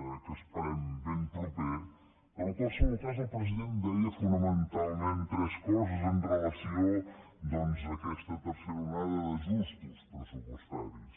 que esperem ben proper però en qualsevol cas el president deia fonamentalment tres coses amb relació a aquesta tercera onada d’ajustos pressupostaris